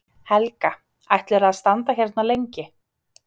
Helga: Ætlarðu að standa hérna lengi?